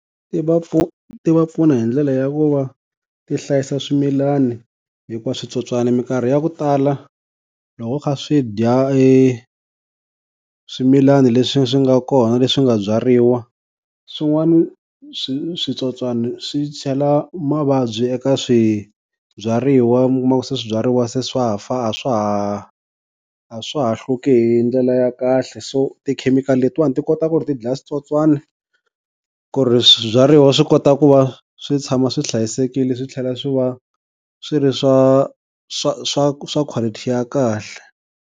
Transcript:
Ti va pfuna hi ndlela ya ku va ti hlayisa swimilani, hikuva switsotswani minkarhi ya ku tala loko swi kha swi dya eswimilani leswi swi nga kona, leswi nga byariwa swin'wani swi switsotswani swi chela mavabyi eka swibyariwa, mi kuma ku swibyariwa se swa fa a swa ha a swa ha hluki hi ndlela ya kahle. So ti-chemical-i letiwani ti kota ku ri ti dlaya switswotswana ku ri swibyariwa swi kota ku va swi tshama swi hlayisekile swi tlhela swi va swi ri swa swa swa swa quality ya kahle.